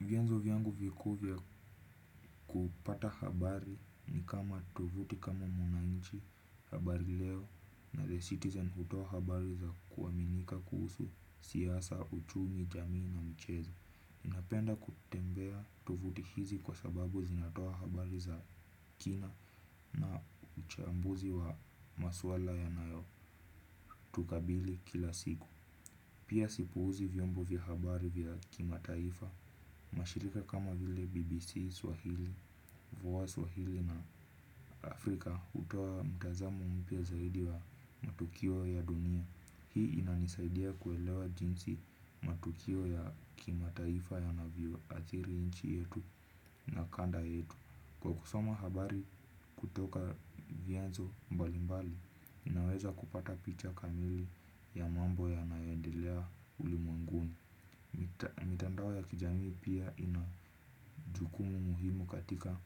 Vyanzo vyangu vikuu vya kupata habari ni kama tuvuti kama mwananchi habari leo na The Citizen hutoa habari za kuaminika kuhusu siyasa uchumi jamii na michezo. Napenda kutembea tuvuti hizi kwa sababu zinatoa habari za kina na uchambuzi wa maswala ya nayo tukabili kila siku. Pia sipuuzi vyombo vya habari vya kima taifa. Mashirika kama vile BBC Swahili, Vowaz Swahili na Afrika hutoa mtazamo mpya zaidi wa matukio ya dunia. Hii inanisaidia kuelewa jinsi matukio ya kima taifa ya navyo athiri nchi yetu na kanda yetu. Kwa kusoma habari kutoka vianzo mbalimbali naweza kupata picha kamili ya mambo yanayoendelea ulimwenguni. Mitandao ya kijamii pia inajukumu muhimu katika